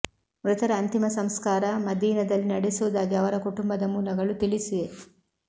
ಮೃತರ ಅಂತಿಮ ಸಂಸ್ಕಾರ ಮದೀನದಲ್ಲಿ ನಡೆಸುವುದಾಗಿ ಅವರ ಕುಟುಂಬದ ಮೂಲಗಳು ತಿಳಿಸಿವೆ